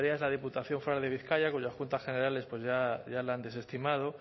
entre ellas la diputación foral de bizkaia cuyas cuentas generales pues ya la han desestimado